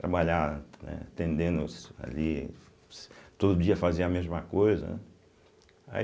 Trabalhar, né atendendo os ali, todo dia fazer a mesma coisa, né? Aí